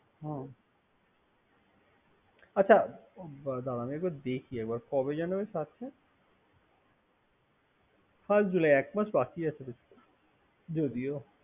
হুম আচ্ছা দারাও। দেখি আমি একবার দেখি কবে জেন হচ্ছে First July একমাস বাকি আছে যদিও।